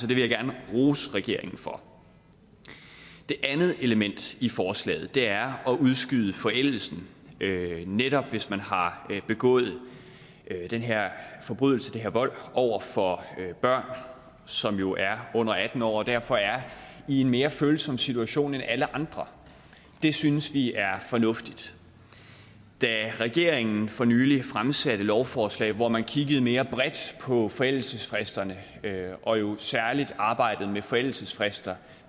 vil jeg gerne rose regeringen for det andet element i forslaget er at udskyde forældelsen netop hvis man har begået den her forbrydelse den her vold over for børn som jo er under atten år derfor er i en mere følsom situation end alle andre det synes vi er fornuftigt da regeringen for nylig fremsatte et lovforslag hvor man kiggede mere bredt på forældelsesfristerne og jo særlig arbejdede med forældelsesfrister